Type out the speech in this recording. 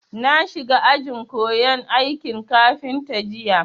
Na shiga ajin koyan aikin kafinta jiya